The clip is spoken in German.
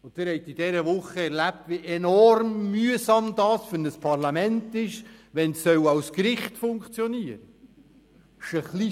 In dieser Woche haben Sie erlebt, wie enorm mühsam es für ein Parlament ist, wenn es als Gericht funktionieren soll: